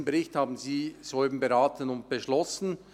Diesen Bericht haben Sie soeben beraten und beschlossen.